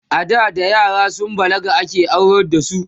ada da yara sun balaga ake aurar da su